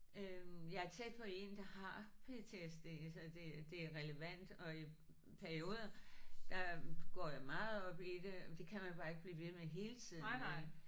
Øh jeg er tæt på én der har PTSD så det det er relevant og i perioder der går jeg meget op i det det kan man ikke blive ved med hele tiden vel